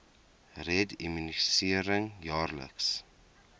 red immunisering jaarliks